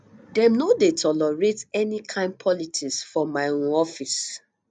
dem no dey tolerate any kain politics for my um office